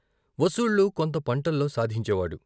వసూళ్ళు కొంత పంటల్లో సాధించేవాడు.